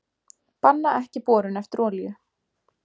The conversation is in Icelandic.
Banna ekki borun eftir olíu